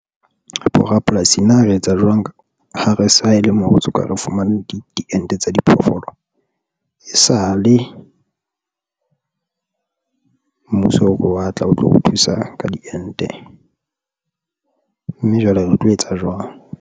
Bo rapolasi na re etsa jwang ha re sa e le mo re soka re fumane diente tsa diphoofolo, e sale mmuso o re a watla o tlo re thusa ka diente mme jwale re tlo etsa jwang?